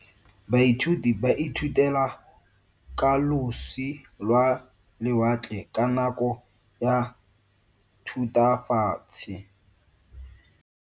Baithuti ba ithutile ka losi lwa lewatle ka nako ya Thutafatshe.